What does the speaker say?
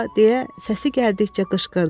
deyə səsi gəldikcə qışqırdı.